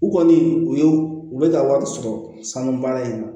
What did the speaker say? U kɔni u y'u u bɛ ka wari sɔrɔ sanu baara in na